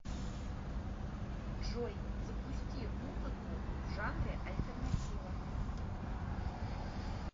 джой запусти музыку в жанре альтернатива